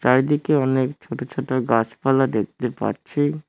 চারিদিকে অনেক ছোট ছোট গাছপালা দেখতে পাচ্ছি।